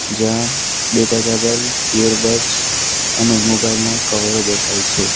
જ્યાં data cable earbuds અને mobile ના કવરો દેખાય છે.